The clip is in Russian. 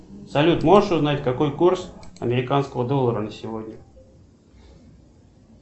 салют можешь узнать какой курс американского доллара на сегодня